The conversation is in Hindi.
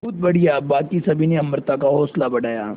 बहुत बढ़िया बाकी सभी ने अमृता का हौसला बढ़ाया